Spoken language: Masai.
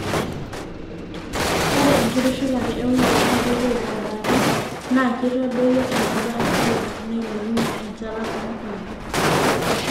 ore enkitushulate eunore naa keitoip abori naa keitadoyio eneba inkulupuok neilepunye enchalan oo nkulupuok